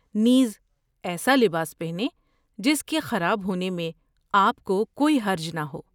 نیز، ایسا لباس پہنیں جس کے خراب ہونے میں آپ کو کوئی حرج نہ ہو!